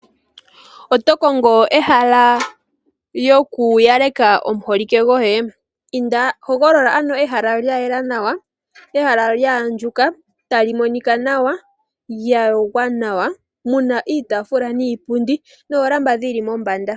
Oto kongo ehala lyoku yalekela omuholike gwoye? Hogolola ano ehala lya yela nawa, ehala lya andjuka, ta li monika nawa, lya yogwa nawa, mu na iitaafula niipundi noolamba dhi li mombanda.